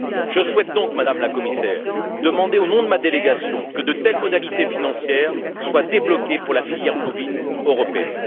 Je souhaite donc, Madame la Commissaire, demander au nom de ma délégation que de telles modalités financières soient débloquées pour la filière bovine européenne.